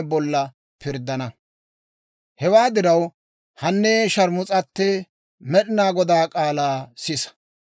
« ‹Hewaa diraw, hanee sharmus'atee, Med'inaa Godaa k'aalaa sisa!